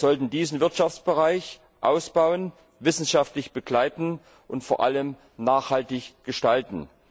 Wir sollten diesen Wirtschaftsbereich ausbauen, wissenschaftlich begleiten und vor allem nachhaltig gestalten.